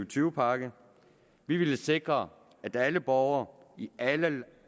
tyve pakke vi ville sikre at alle borgere i alle